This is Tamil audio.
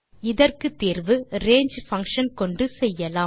இதற்கு தீர்வை range பங்ஷன் கொண்டு செய்யலாம்